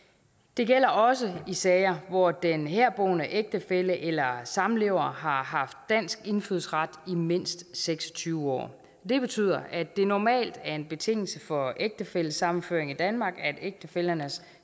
det gælder også i sager hvor den herboende ægtefælle eller samlever har haft dansk indfødsret i mindst seks og tyve år det betyder at det normalt er en betingelse for ægtefællesammenføring i danmark at ægtefællernes